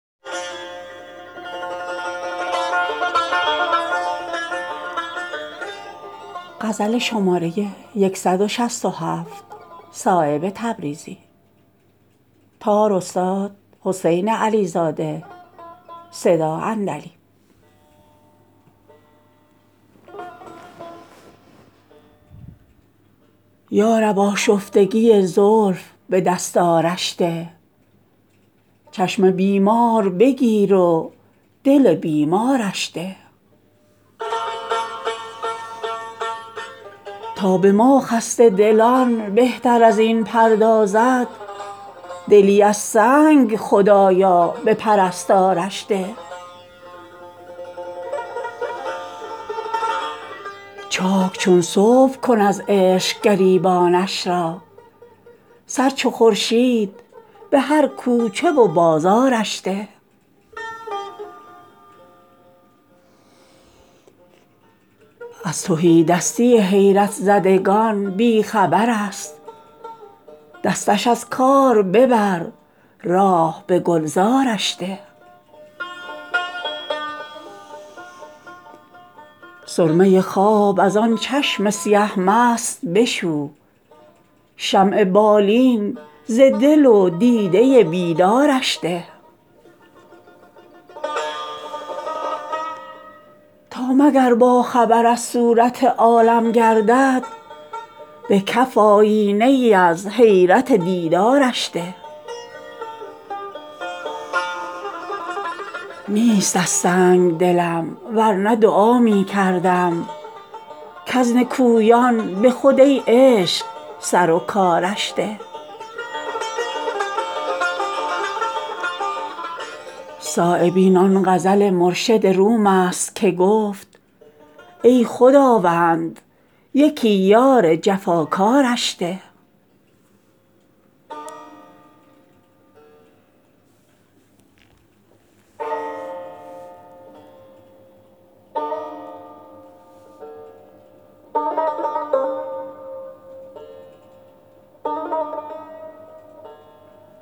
یارب آشفتگی زلف به دستارش ده چشم بیمار بگیر و دل بیمارش ده تا به ما خسته دلان بهتر ازین پردازد دلی از سنگ خدایا به پرستارش ده چاک چون صبح کن از عشق گریبانش را سر چو خورشید به هر کوچه و بازارش ده از تهیدستی حیرت زدگان بی خبرست دستش از کار ببر راه به گلزارش ده می برد سرکشی و ناز ز اندازه برون همچو سرو از گره خاطر خود بارش ده سرمه خواب ازان چشم سیه مست بشو شمع بالین ز دل و دیده بیدارش ده تا به خونابه کشان بهتر ازین پردازد چندی از خون جگر ساغر سرشارش ده تا مگر باخبر از صورت حالم گردد به کف آیینه ای از حیرت دیدارش ده آن بت سنگدل از پیچش ما بی خبرست پیچ و تابی به رگ و ریشه چو زنارش ده نیست از سنگ دلم ورنه دعا می کردم کز نکویان به خود ای عشق سروکارش ده صایب این آن غزل مرشد روم است که گفت ای خداوند یکی یار جفاکارش ده